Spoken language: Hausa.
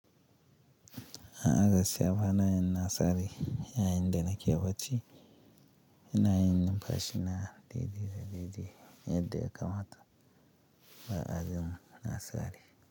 A gaskiya ba na yin nasari, yayinda nake bacci, ina yin numfashi na diddige diddige yadda ya kamata ba a jin nasari.